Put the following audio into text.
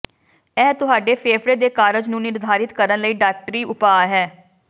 ਇਹ ਤੁਹਾਡੇ ਫੇਫੜੇ ਦੇ ਕਾਰਜ ਨੂੰ ਨਿਰਧਾਰਤ ਕਰਨ ਲਈ ਡਾਕਟਰੀ ਉਪਾਅ ਹੈ